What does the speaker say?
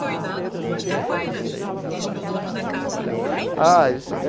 E os os os sambistas antigos, como é que veem isso?